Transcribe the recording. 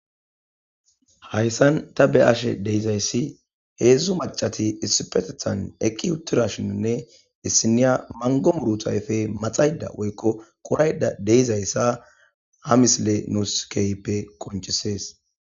.Hayssan ta be'ashe diyoge issi maca nayiti issipe eqqidi utidashin issiniya mango muze ayfe maxayida woykko qorayida diza issa ha misile tasi keehippe qoncises